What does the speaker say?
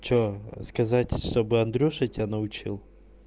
что сказать чтобы андрюша тебя научил